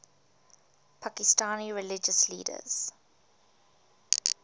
pakistani religious leaders